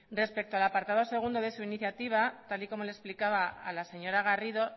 respecto al apartado segundo de su iniciativa tal y como le explicaba a la señora garrido